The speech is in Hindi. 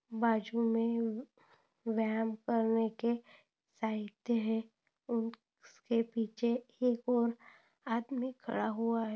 बाजू मे व्यायाम करने के साहित्य है और उसके पीछे एक और आदमी खड़ा हुआ है।